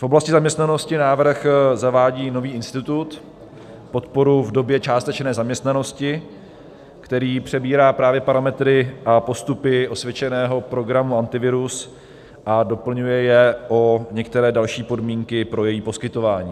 V oblasti zaměstnanosti návrh zavádí nový institut - podporu v době částečné zaměstnanosti - který přebírá právě parametry a postupy osvědčeného programu Antivirus a doplňuje je o některé další podmínky pro její poskytování.